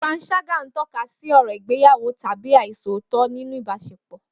Panṣágà ń tọ́ka sí ọ̀rọ̀ ìgbéyàwó tàbí àìṣòótọ́ nínú ìbáṣepọ̀.